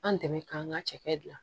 An dɛmɛ k'an ka cɛkɛ dilan